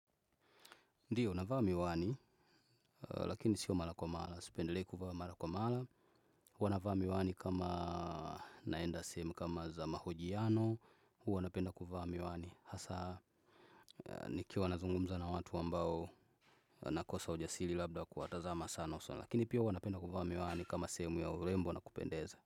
Ndiyo, navaa miwani, lakini sio mara kwa mala. Sipendelei kuvaa mara kwa mara huwa navaa miwani kama naenda sehemu kama za mahojiano. Huwa napenda kuvaa miwani. Hasa, nikiwa nazungumza na watu ambao nakosa ujasili labda wa kuwatazama sana usoni. Lakini pia huwa napenda kuvaa miwani kama sehemu ya urembo na kupendeza.